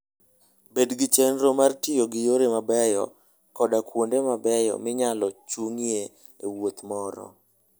Bed gi chenro mar tiyo gi yore mabeyo koda kuonde mabeyo minyalo chung'ie e wuoth moro.